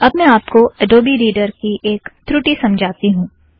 अब मैं आपको अड़ोबी रीड़र की एक ऋठि समझाती हूँ